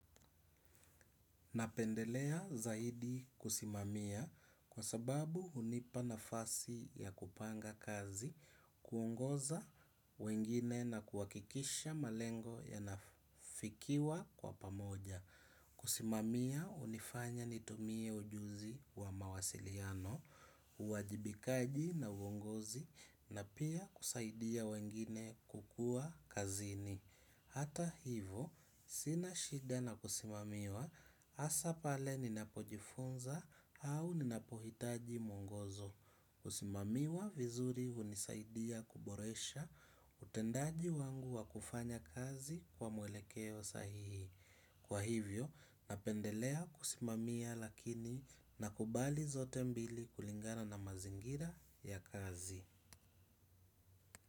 Napendelea zaidi kusimamia kwa sababu hunipa nafasi ya kupanga kazi, kuongoza wengine na kuhakikisha malengo yanafikiwa kwa pamoja. Kusimamia hunifanya nitumie ujuzi wa mawasiliano, uwajibikaji na uongozi na pia kusaidia wengine kukua kazini. Hata hivo, sina shida na kusimamiwa hasa pale ninapojifunza au ninapohitaji mwongozo. Kusimamiwa vizuri hunisaidia kuboresha utendaji wangu wa kufanya kazi kwa mwelekeo sahihi. Kwa hivyo, napendelea kusimamia lakini nakubali zote mbili kulingana na mazingira ya kazi.